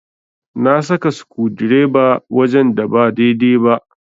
Na saka sukudireba wajen da ba daidai ba.